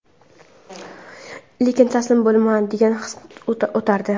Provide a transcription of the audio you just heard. lekin taslim bo‘lma degan his o‘tardi.